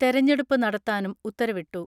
തെരഞ്ഞെടുപ്പ് നടത്താനും ഉത്തരവിട്ടു.